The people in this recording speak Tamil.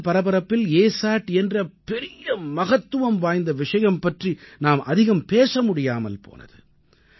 தேர்தல் பரபரப்பில் அசாட் என்ற பெரிய மகத்துவம் வாய்ந்த விஷயம் பற்றி நாம் அதிகம் பேச முடியாமல் போனது